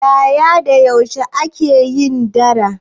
Yaya da yaushe kuka ake yin dara?